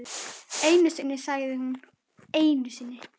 Einu sinni sagði hún, einu sinni.